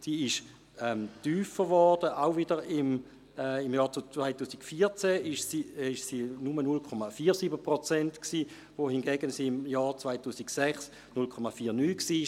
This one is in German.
Diese wurde tiefer und betrug, wiederum im Jahr 2014, 0,47 Prozent, wohingegen sie im Jahr 2006 0,49 Prozent betrug.